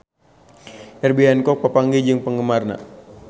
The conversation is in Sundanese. Herbie Hancock papanggih jeung penggemarna